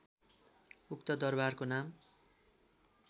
उक्त दरबारको नाम